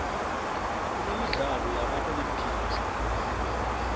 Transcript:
kunemidlalo yama olympics